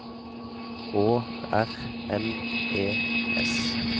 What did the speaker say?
Å R N E S